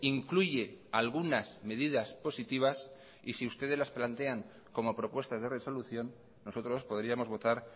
incluye algunas medidas positivas y si ustedes las plantean como propuestas de resolución nosotros podríamos votar